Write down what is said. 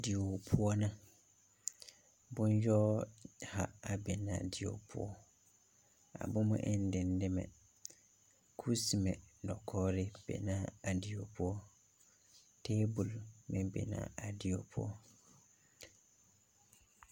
Die poɔ na. Boŋ yoɔ ha a be na a die poɔ. A bomɛ en dedɛmɛ. kusemɛ dakoɔre be na a die poɔ. Tabul meŋ be na a die poɔ.